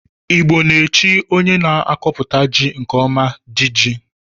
Igbo na-echi onye na-akọputa ji nke ọma 'di ji'